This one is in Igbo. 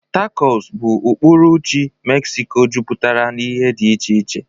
Tacos bụ ọpụrụiche Mexico jupụtara na ihe dị iche iche.